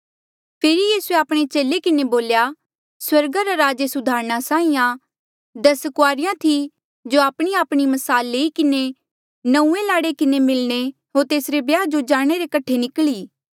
फेरी यीसूए आपणे चेले किन्हें बोल्या स्वर्गा रा राज एस उदाहरणा साहीं आं दस कुआरिया थी जो आपणीआपणी म्साल लई किन्हें नंऊँऐं लाड़े किन्हें मिलणे होर तेसरे ब्याह जो जाणे रे कठे निकली